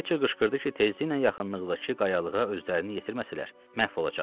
Fletçer qışqırdı ki, tezliklə yaxınlıqdakı qayalığa özlərini yetirməsələr, məhv olacaqlar.